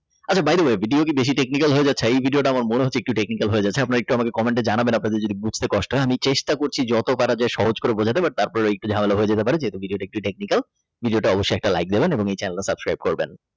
আচ্ছা By the way Video কি বেশি Technician হয়ে যাচ্ছে এ Video টা আমার মনে হচ্ছে একটু বেশি Technical হয়ে যাচ্ছে। আপনারা একটু আমাকে Comment জানাবেন আপনাদের যদি বুঝতে কষ্ট হয় আমি চেষ্টা করছি যত পারা যায় সহজ করে বোঝাতে but তারপরে একটু ঝামেলা হয়ে যেতে পারে যেহেতু এটা একটু TechnicalVideo টাই অবশ্যই একটা Like দিবেন এবং এই Channel subscribe করবেন।